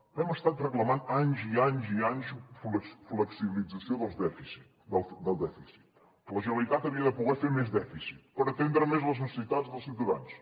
hem estat reclamant anys i anys i anys flexibilització del dèficit que la generalitat havia de poder fer més dèficit per atendre més les necessitats dels ciutadans